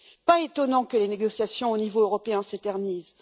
Pas étonnant que les négociations au niveau européen s'éternisent.